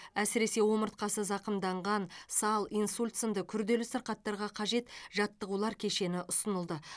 әсіресе омыртқасы зақымданған сал инсульт сынды күрделі сырқаттарға қажет жаттығулар кешені ұсынылды